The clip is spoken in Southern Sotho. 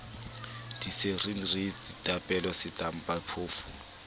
dicereale reisi ditapole setampa phoofo